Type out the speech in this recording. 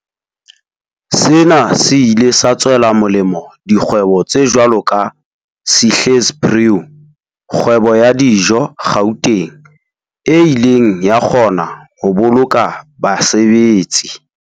Sena se ile sa tswela molemo dikgwebo tse jwalo ka Sihle's Brew, kgwebo ya dijo Gauteng, e ileng ya kgona ho boloka basebetsi.